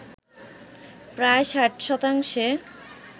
প্রায় ৬০ শতাংশে